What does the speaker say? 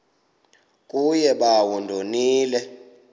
kuye bawo ndonile